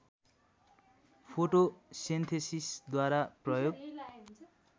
फोटोसेन्थेसिसद्वारा प्रयोग